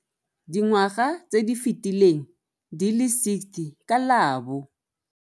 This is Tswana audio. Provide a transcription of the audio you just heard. Dingwaga tse di fetileng di le 60 ka la bo.